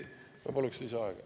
Ma palun lisaaega.